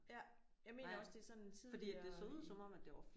Ja jeg mener også det er sådan tidligere i